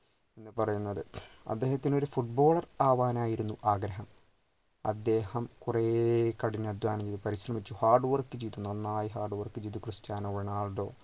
എന്ന് പറയുന്നത് അദ്ദേഹത്തിന് ഒരു footballer ആവാൻ ആയിരുന്നു ആഗ്രഹം അദ്ദേഹം കുറെ കഠിനാധ്വാനം ചെയ്തു പരിശ്രമിച്ചു hardwork ചെയ്തു നന്നായി hardwork ചെയ്തു ക്രിസ്റ്റ്യാനോ റൊണാൾഡോ